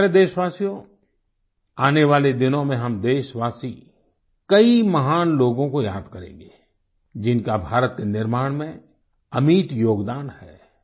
मेरे प्यारे देशवासियो आने वाले दिनों में हम देशवासी कई महान लोगों को याद करेंगे जिनका भारत के निर्माण में अमिट योगदान है